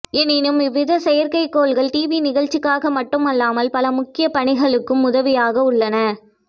எனினும் இவ்வித செயற்கைக்கோள்கள் டிவி நிகழ்ச்சிகளுக்காக மட்டும் அல்லாமல் பல முக்கிய பணிகளுக்கும் உதவியாக உள்ளன